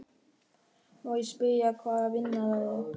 Má ég spyrja hvaða vinna það er?